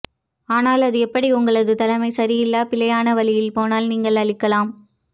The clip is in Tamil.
ஆனால் அது எப்படி உங்களது தலைமை சரியில்லை பிழையான வழியில் போனால் நீங்கள் அழிக்கலாம்